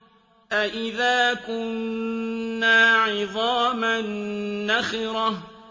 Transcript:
أَإِذَا كُنَّا عِظَامًا نَّخِرَةً